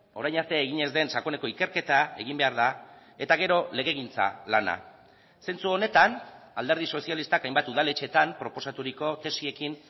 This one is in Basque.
orain arte egin ez den sakoneko ikerketa egin behar da eta gero legegintza lana zentzu honetan alderdi sozialistak hainbat udaletxeetan proposaturiko tesiekin